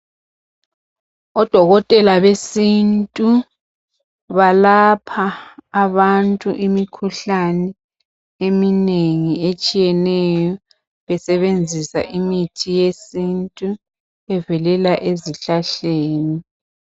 Odokotela besintu balapha abantu imikhuhlane eminengi etshiyeneyo besebenzisa imithi yesintu evelela ezihlahleni.